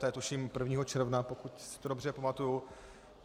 To je tuším 1. června, pokud si to dobře pamatuji.